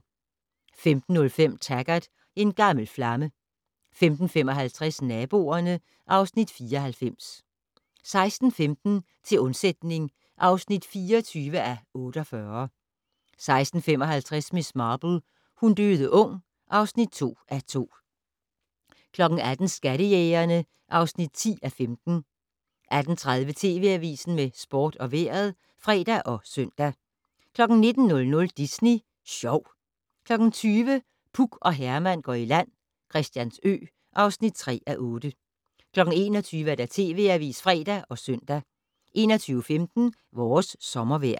15:05: Taggart: En gammel flamme 15:55: Naboerne (Afs. 94) 16:15: Til undsætning (24:48) 16:55: Miss Marple: Hun døde ung (2:2) 18:00: Skattejægerne (10:15) 18:30: TV Avisen med sport og vejret (fre og søn) 19:00: Disney Sjov 20:00: Puk og Herman går i land - Christiansø (3:8) 21:00: TV Avisen (fre og søn) 21:15: Vores sommervejr